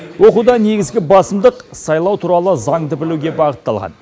оқуда негізгі басымдық сайлау туралы заңды білуге бағытталған